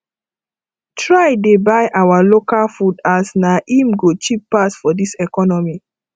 try dey buy our local food as na im go cheap pass for dis economy